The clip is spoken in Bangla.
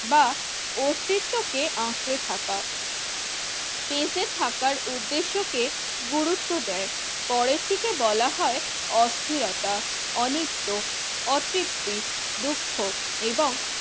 বা অস্তিত্বকে আঁকড়ে থাকা। টেসে থাকার উদ্দেশ্যকে গুরুত্ব দেয় পরেরটিকে বলা হয় অস্থিরতা, অনিত্য, অতৃপ্তি, দুঃখ এবং